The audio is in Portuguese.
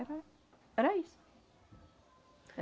Era isso.